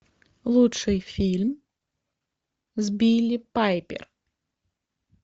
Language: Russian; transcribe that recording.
лучший фильм с билли пайпер